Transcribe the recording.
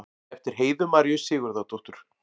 eftir heiðu maríu sigurðardóttur